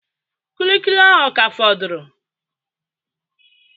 Kulikuli ahụ ọ ka fọrọ?